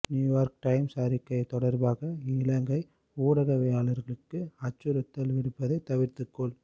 New York Times அறிக்கை தொடர்பாக இலங்கை ஊடகவியலாளர்களுக்கு அச்சுறுத்தல் விடுப்பதை தவிர்த்துக் கொள்